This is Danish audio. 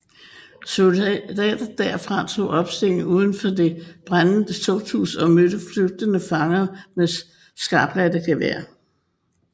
Soldater derfra tog opstilling udenfor det brændende tugthus og mødte flygtende fanger med skarpladte geværer